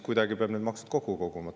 Kuidagi peab need maksud kokku koguma.